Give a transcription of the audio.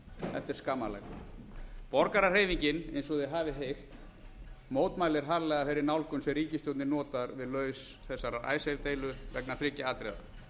er skammarlegt borgarahreyfingin eins og þið hafið heyrt mótmælir harðlega þeirri nálgun sem ríkisstjórnin notar við lausn þessarar icesave deilu vegna þriggja atriða